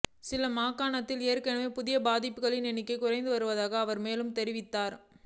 சில மாகாணங்களில் ஏற்கனவே புதிய பாதிப்புகளின் எண்ணிக்கை குறைந்து வருவதாக அவர் மேலும் தெரிவித்தார்